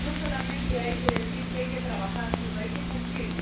No solamente hay que decir que hay que trabajar, sino hay que cumplir.